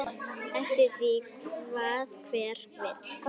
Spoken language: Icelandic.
Eftir því hvað hver vill.